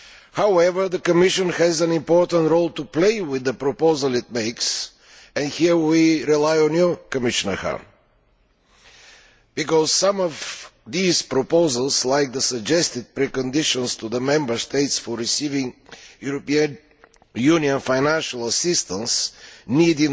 However, the Commission has an important role to play with the proposal it makes and here we rely on you, Commissioner Hahn, because in my opinion, some of these proposals like the suggested preconditions for the Member States for receiving European Union financial assistance need